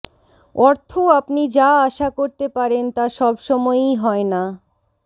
অর্থ আপনি যা আশা করতে পারেন তা সবসময়ই হয় না